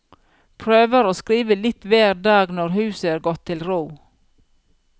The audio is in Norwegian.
Prøver å skrive litt hver dag når huset er gått til ro.